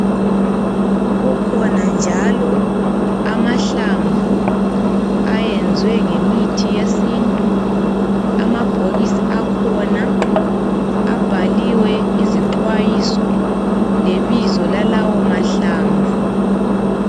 Kukhona njalo amahlamvu ayenzwe ngemithi yesintu, amabhokisi akhona abhaliwe izixwayiso lebizo lalawo mahlamvu.